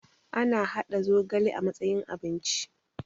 ana haɗa zogale a matsayin abinci